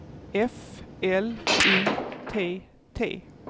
F L Y T T